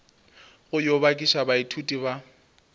go yo bakiša baithuti ba